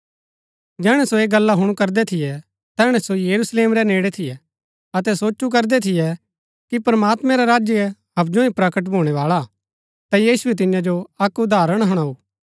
जैहणै सो ऐह गला हुणु करदै थियै तैहणै सो यरूशलेम रै नेड़ै थियै अतै सोचु करदै थियै कि प्रमात्मैं रा राज्य हबजु ही प्रकट भूणै बाळा हा ता यीशुऐ तियां जो अक्क उदाहरण हुणाऊ